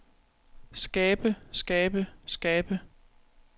skabe skabe skabe